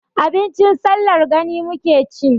Abincin sallar gani muke ci.